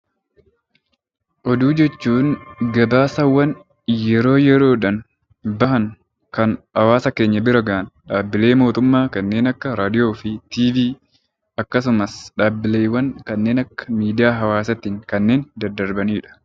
Oduu jechuun gabaasaawwan yeroo yeroodhaan bahan kan hawaasa keenya bira gahan dhaabbilee mootummaa kanneen akka raadiyoo fi televezyiinii akkasumas dhaabbilee kanneen akka miidiyaa hawaasaatiin kanneen daddarbanidha.